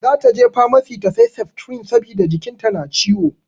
Zata je famasi ta sai septrin saboda jikin ta na ciwo.